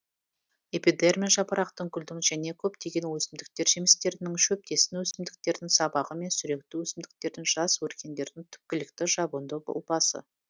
эпи дерма жапырақтың гүлдің және көптеген өсімдіктер жемістерінің шөптесін өсімдіктердің сабағы мен сүректі өсімдіктердің жас өркендерінің түпкілікті жабынды ұлпасы